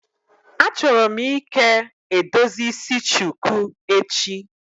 Achọrọ m ike edozi isi shuku echi.